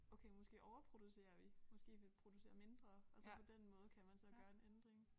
Okay måske overproducerer vi måske vi producerer mindre og så på den måde kan man så gøre en ændring